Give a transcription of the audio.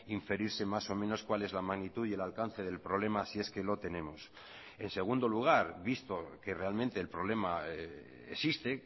inferirse más o menos cuál es la magnitud y el alcance del problema si es que lo tenemos en segundo lugar visto que realmente el problema existe